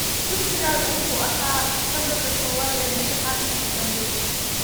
Dugsigayagu waxa uu ahaa lambarka koowaad ee imtixaankii u dambeeyay